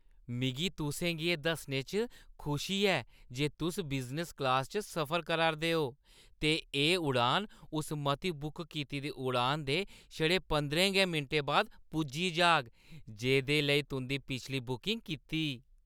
मिगी तुसें गी एह् दस्सने च खुशी ऐ जे तुस बिजनस क्लासा च सफर करा 'रदे ओ ते एह् उड़ान उस मती बुक कीती दी उड़ान दे छड़े पंदरें गै मिंटें बाद पुज्जी जाह्‌ग जेह्दे लेई तुं'दी पिछली बुकिंग कीती।